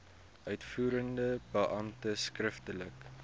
uitvoerende beampte skriftelik